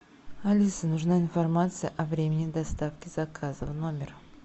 алиса нужна информация о времени доставки заказа в номер